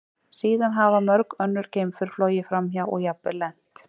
Síðan hafa mörg önnur geimför flogið framhjá og jafnvel lent.